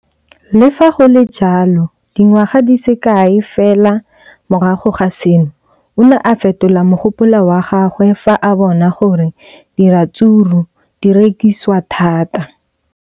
Le fa go le jalo, dingwaga di se kae fela morago ga seno, o ne a fetola mogopolo wa gagwe fa a bona gore diratsuru di rekisiwa thata.